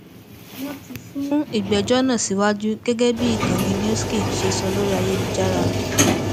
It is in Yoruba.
wọn ti sún ìgbẹjọ náà síwájú gẹgẹ bí ìkànnì newssky ṣe sọ lórí ayélujára